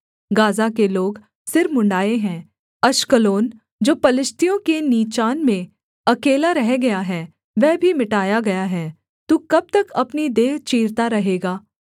Gaza के लोग सिर मुँण्ड़ाए हैं अश्कलोन जो पलिश्तियों के नीचान में अकेला रह गया है वह भी मिटाया गया है तू कब तक अपनी देह चीरता रहेगा